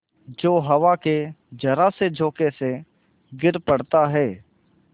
जो हवा के जरासे झोंके से गिर पड़ता है